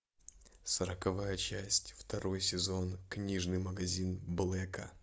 сороковая часть второй сезон книжный магазин блэка